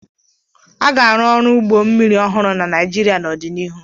A ga-arụ ọdụ ụgbọ mmiri ọhụrụ na Naịjirịa n'ọdịnihu.